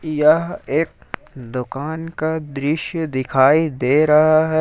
यह एक दुकान का दृश्य दिखाई दे रहा है।